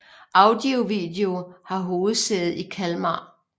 Audio Video har hovedsæde i Kalmar